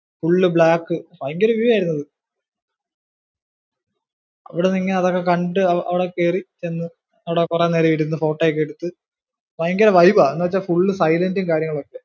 full black ഭയങ്കര view ആയിരുന്നു അത്. അവിടുന്നിങ്ങു അതൊക്കെ കണ്ടു, അവിടെ കേറി ചെന്ന് അവിടെ കുറെ നേരം ഇരുന്നു photo ഒക്കെ എടുത്തു. ഭയങ്കര vibe ആ. എന്ന് വെച്ചാ silent ഉം കാര്യങ്ങളും ഒക്കെ യാ.